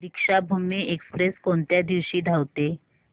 Deekshabhoomi express कोणत्या दिवशी धावते